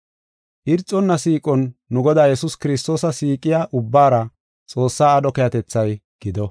Irxonna siiqon nu Godaa Yesuus Kiristoosa siiqiya ubbaara Xoossaa aadho keehatethay gido.